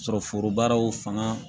Sɔrɔ forobaw fanga